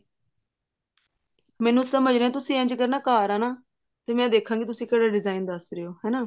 ਮੈਨੂੰ ਸਮਝ ਨੀ ਆਇਆ ਤੁਸੀਂ ਇੰਝ ਕਰਨਾ ਘਰ ਆਉਣਾ ਫ਼ੇਰ ਮੈਂ ਦੇਖਾਂਗੀ ਤੁਸੀਂ ਕਿਹੜੇ design ਦੱਸ ਰਹੇ ਓ ਹਨਾ